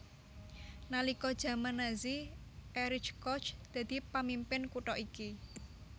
Nalika jaman Nazi Erich Koch dadi pamimpin kutha iki